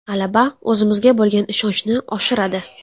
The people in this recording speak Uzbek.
G‘alaba o‘zimizga bo‘lgan ishonchni oshiradi.